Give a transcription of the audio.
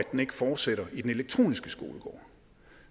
ikke fortsætter i den elektroniske skolegård